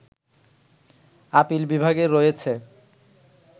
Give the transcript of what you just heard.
appeal বিভাগের রয়েছে